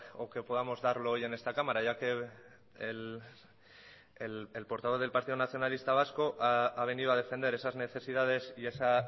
o que podamos darlo hoy en esta cámara ya que el portavoz del partido nacionalista vasco ha venido a defender esas necesidades y esa